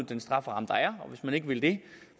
den strafferamme der er og hvis man ikke vil det